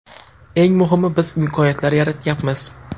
Eng muhimi biz imkoniyatlar yaratyapmiz.